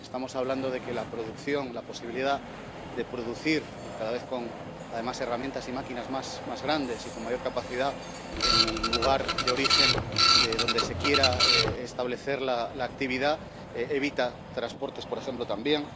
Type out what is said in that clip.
Estamos hablando de que la producción, la posibilidad de producir cada vez con, además, herramientas y máquinas más grandes y con mayor capacidad en el lugar donde se quiera establecer la actividad evita transportes, por ejemplo, también.